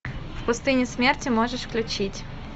в пустыне смерти можешь включить